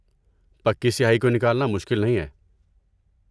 پکی سیاہی کو نکالنا مشکل نہیں ہے۔